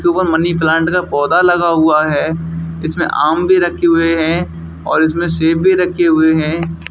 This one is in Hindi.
सुबह मनी प्लांट का पौधा लगा हुआ है इसमें आम भी रखे हुए हैं और इसमें सेब भी रखे हुए हैं।